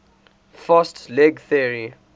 fast leg theory